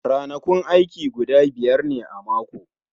Ranakun aiki guda biyar ne a mako